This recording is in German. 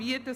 Gott sei